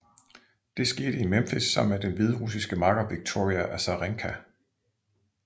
Det skete i Memphis sammen med den hviderussiske makker Victoria Azarenka